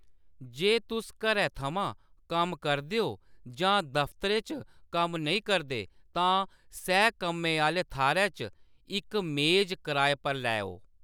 जे तुस घरै थमां कम्म करदे ओ जां दफ्तरै च कम्म नेईं करदे, तां सैह्-कम्मै आह्‌ले थाह्‌‌‌रै च इक मेज कराए पर लैओ।